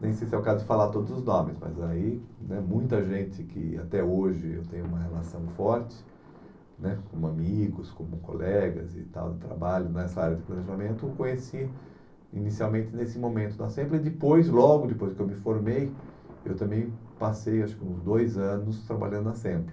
Nem sei se é o caso de falar todos os nomes, mas aí né muita gente que até hoje eu tenho uma relação forte né, como amigos, como colegas e tal de trabalho nessa área de planejamento, eu conheci inicialmente nesse momento na SEMPLA e depois, logo depois que eu me formei, eu também passei acho que uns dois anos trabalhando na SEMPLA.